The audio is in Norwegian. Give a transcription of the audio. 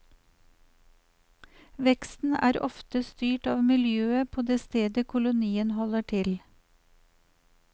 Veksten er ofte styrt av miljøet på det stedet kolonien holder til.